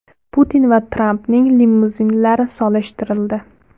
Putin va Trampning limuzinlari solishtirildi.